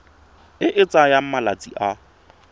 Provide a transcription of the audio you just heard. e e tsayang malatsi a